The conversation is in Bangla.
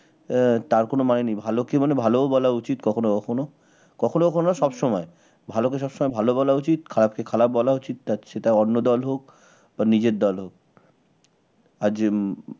আহ তার কোন মানে নেই ভালোকে মানে ভালো বলা উচিত কখনো কখনো, কখনো কখনো না সব সময় ভালো সব সময় ভালো বলা উচিত, খারাপকে খারাপ বলা উচিত তা সেটা অন্য দল হোক বা নিজের দল হোক আর যে উম